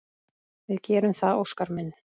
Við gerum það, Óskar minn.